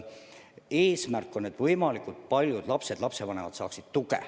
Eesmärk on, et võimalikult paljud lapsed ja lapsevanemad saaksid tuge.